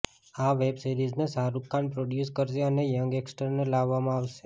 આ વેબ સીરિઝને શાહરુખ ખાન પ્રોડ્યૂસ કરશે અને યંગ એક્ટર્સને લેવામાં આવશે